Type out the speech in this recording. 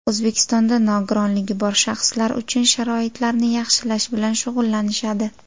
O‘zbekistonda nogironligi bor shaxslar uchun sharoitlarni yaxshilash bilan shug‘ullanishadi.